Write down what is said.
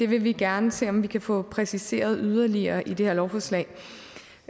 vil vi gerne se om vi kan få præciseret yderligere i det her lovforslag